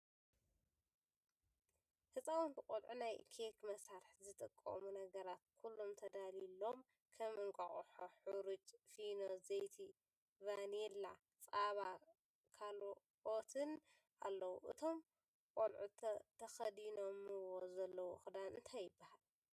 ህፃውንቲ ቆልዑ ናይ ኬክ መስርሒ ዝጠቅሙ ነገራት ኩሎም ተዳልዩሎም ከም እንቃቁሖ፣ ሕሩጭ ፊኖ፣ ዘይቲ ፣ቫኒላ ፣ፀባ፣ ካልኦፐትን ኣለዉ። እቶም ቆልዑ ተከዲኖምዎ ዘለዉ ክዳን እንታይ ይበሃል ?